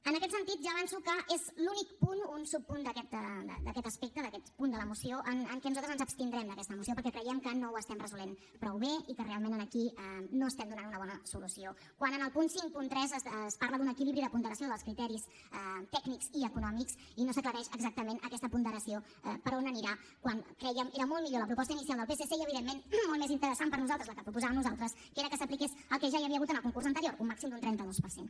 en aquest sentit ja avanço que és l’únic punt un subpunt d’aquest aspecte d’aquest punt de la moció en què nosaltres ens abstindrem d’aquesta moció perquè creiem que no ho estem resolent prou bé i que realment aquí no estem donant una bona solució quan en el punt cinquanta tres es parla d’un equilibri en la ponderació dels criteris tècnics i econòmics i no s’aclareix exactament aquesta ponderació per on anirà quan crèiem era molt millor la proposta inicial del psc i evidentment molt més interessant per a nosaltres la que proposàvem nosaltres que era que s’apliqués el que ja hi havia hagut en el concurs anterior un màxim d’un trenta dos per cent